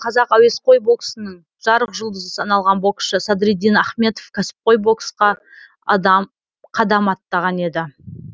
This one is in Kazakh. қазақ әуесқой боксының жарық жұлдызы саналған боксшы садриддин ахметов кәсіпқой боксқа қадам аттаған еді